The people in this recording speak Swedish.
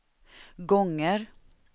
gånger